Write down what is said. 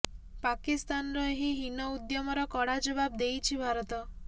ପାକିସ୍ତାନର ଏହି ହୀନ ଉଦ୍ୟମର କଡା ଜବାବ ଦେଇଛି ଭାରତ